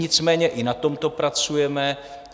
Nicméně i na tomto pracujeme.